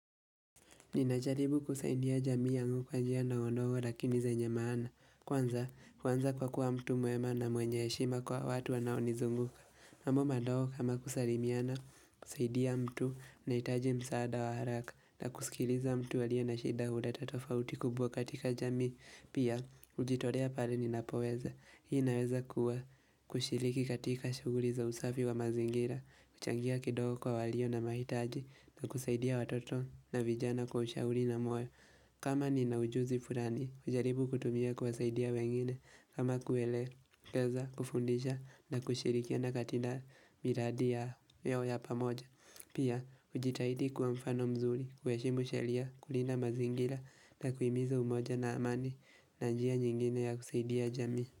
Ninajaribu kusaidia jamii yangu kwanjia ndogondogo lakini zenye maana. Kwanza kuanza kwa kuwa mtu mwema na mwenye yeshima kwa watu wanaonizunguka. Mambo madogo kama kusalimiana kusaidia mtu anaehitaji msaada wa haraka na kusikiliza mtu aliye na shida huleta tofauti kubwa katika jamii. Pia, kujitolea pale ninapoweza. Hii inaweza kuwa kushiriki katika shughuri za usafi wa mazingira, kuchangia kidogo kwa walio na mahitaji na kusaidia watoto na vijana kwa ushauri na moyo. Kama ninaujuzi furani, hujaribu kutumia kuwasaidia wengine. Kama kuelekeza, kufundisha na kushirikiana katika miradi yao ya pamoja. Pia, ujitahidi kuwa mfano mzuri, kuheshimu sheria, kulinda mazingira, na kuhimiza umoja na amani, na njia nyingine ya kusaidia jamii.